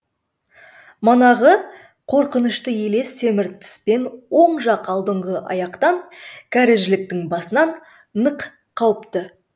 манағы қорқынышты елес темір тіспен оң жақ алдыңғы аяқтан кәрі жіліктің басынан нық қауыпты